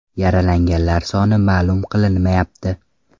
Yaralanganlar soni ma’lum qilinmayapti.